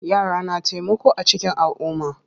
Yara na taimako a cikin alumma.